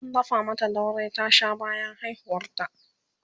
an dafa mata dauri ta Sha bayan haihuwar ta